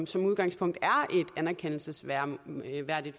som udgangspunkt er et anerkendelsesværdigt